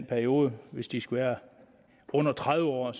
perioden hvis de skal være under tredive år er